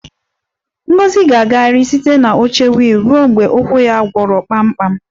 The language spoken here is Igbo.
Ngozi ga-agagharị site na oche wiil ruo mgbe ụkwụ ya gwọrọ kpamkpam